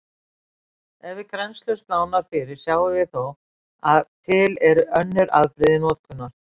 Ef við grennslumst nánar fyrir sjáum við þó að til eru önnur afbrigði notkunar.